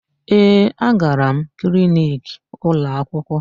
Ee, agara m kliniki ụlọakwụkwọ.